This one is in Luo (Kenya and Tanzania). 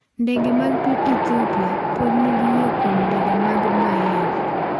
Ndege mag piny Ethiopia pod nigi yie kuom ndege mag Boeing